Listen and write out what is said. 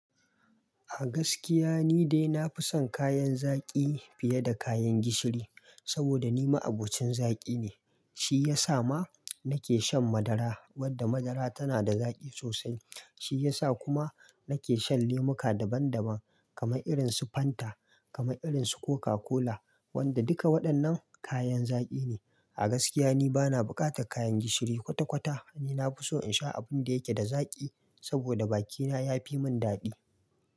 A gaskiya, ni dai na fi son kayan zaƙi fiye da kayan gishiri, saboda ni ma abocin zaƙi ne. Shi ya sa ma nake shan madara, wadda madara tana da zaƙi sosai. Shi ya sa kuma nake shan lemuka daban daban, kamar irin su Fanta, kamar irin su Coca-Cola, wanda duka waɗannan kayan zaƙi ne. A gaskiya, ni bana buƙatan kayan gishiri kwata-kwata. Ni na fi so in sha abin da yake da zaƙi, saboda bakina ya fi min daɗi.